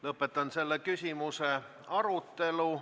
Lõpetan selle küsimuse arutelu.